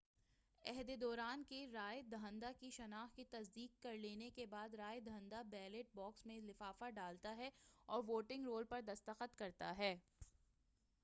عہدیداران کے رائے دہندہ کی شناخت کی تصدیق کر لینے کے بعد رائے دہندہ بیلٹ باکس میں لفافہ ڈالتا ہے اور ووٹنگ رول پر دستخط کرتا ہے